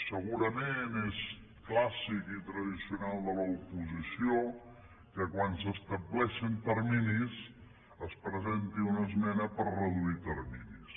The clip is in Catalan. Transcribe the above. segurament és clàssic i tradicional de l’oposició que quan s’estableixen terminis es presenti una esmena per reduir terminis